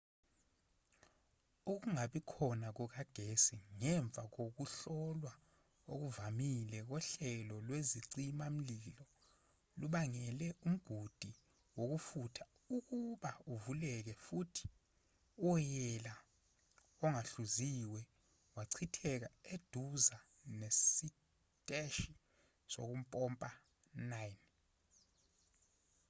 ukungabi khona kukagesi ngemva kokuhlolwa okuvamile kohlelo lwezicima-mlilo lubangele umgudu wokufutha ukuba uvuleke futhi uwoyela ongahluziwe wachitheka eduza nesiteshi sokumpompa 9